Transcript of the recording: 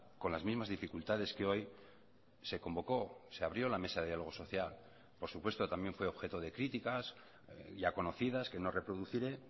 con las mismas dificultades que hoy se convocó se abrió la mesa de diálogo social por supuesto también fue objeto de críticas ya conocidas que no reproduciré